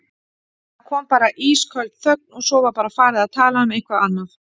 Það kom bara ísköld þögn og svo var bara farið að tala um eitthvað annað.